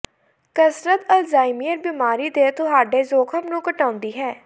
ਕਸਰਤ ਅਲਜ਼ਾਈਮਰ ਬਿਮਾਰੀ ਦੇ ਤੁਹਾਡੇ ਜੋਖਮ ਨੂੰ ਘਟਾਉਂਦੀ ਹੈ